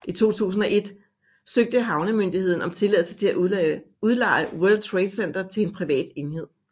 I 2001 søgte havnemyndigheden om tilladelse til at udleje World Trade Center til en privat enhed